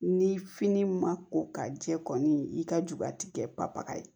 Ni fini ma ko ka jɛ kɔni i ka ju ka tikɛ papa ye